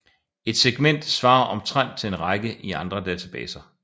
Et segment svarer omtrent til en række i andre databaser